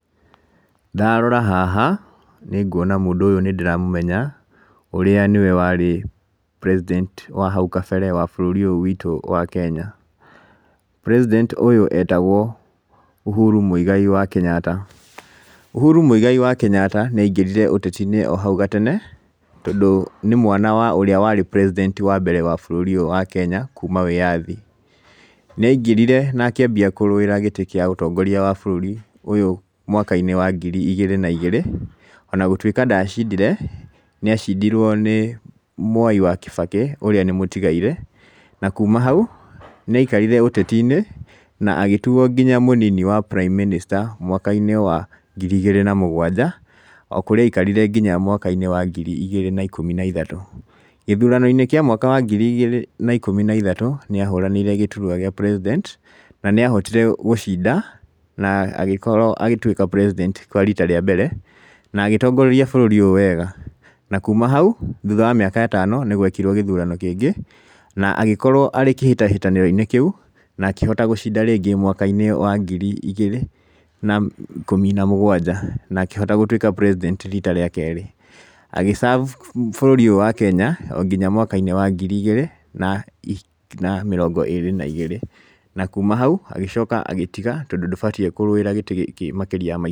Ndarora haha, nĩ nguona mũndũ ũyũ nĩ ndĩramũmenya, ũrĩa nĩwe warĩ president wa hau kabere wa bũrũri ũyũ witũ wa Kenya. President ũyũ Uhuru Mũigai wa Kenyatta. Uhuru Mũigai wa Kenyatta nĩ aingĩrire ũteti o hau gatene, tondũ nĩ mwana wa ũrĩa warĩ president wa mbere wa bũrũri ũyũ wa Kenya kuuma wĩyathi. Nĩangĩrire na akĩambia kũrũĩra gĩtĩ kĩa ũtongoria wa bũrũri ũyũ mwaka-inĩ wa ngiri igĩrĩ na igĩrĩ ona gũtuĩka ndacindire nĩ acindirwo nĩ Mwai wa Kĩbakĩ ũrĩa nĩ mũtigairĩ. Na kuma hau nĩ aikarire ũteti-inĩ na agĩtuo nginya mũnini wa Prime Minister mwaka-inĩ wa ngiri igĩrĩ na mũgwanja, o kũrĩa aikarire nginya mwaka-inĩ wa ngiri igĩrĩ na ikũmi na ithatũ. Gĩthurano-inĩ kĩa mwaka wa ngiri igĩrĩ na ikũmi na ithatũ, nĩ ahũranĩire gĩturua gĩa president na nĩ ahotire gũcinda na agĩkorwo agĩtuĩka president kwa rita rĩa mbere, na agĩtongoria bũrũri ũyũ wega. Thutha wa mĩaka ĩtano nĩ gwekirwo gĩthurano kĩngĩ na agĩkorwo arĩ kĩhĩtahĩtanĩro-inĩ kĩu na akĩhota gũcinda rĩngĩ mwaka-inĩ wa ngiri igĩrĩ na ikũmi na mũgwanja, na akĩhota gũtwĩka president rita rĩa kerĩ. Agĩ serve bũrũri ũyũ wa Kenya o nginya mwaka wa ngiri igĩrĩ na mĩrongo ĩĩrĩ. Na kuma hau agĩcoka agĩtiga tondũ ndũbatiĩ kũrũĩra gĩtĩ gĩkĩ makĩria ya ma.